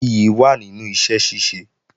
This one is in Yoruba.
Ìyì wà nínú iṣẹ́ ṣíṣe